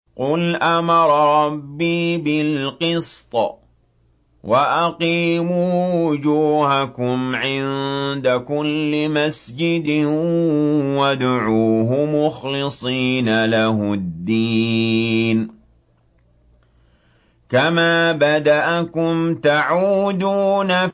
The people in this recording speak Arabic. قُلْ أَمَرَ رَبِّي بِالْقِسْطِ ۖ وَأَقِيمُوا وُجُوهَكُمْ عِندَ كُلِّ مَسْجِدٍ وَادْعُوهُ مُخْلِصِينَ لَهُ الدِّينَ ۚ كَمَا بَدَأَكُمْ تَعُودُونَ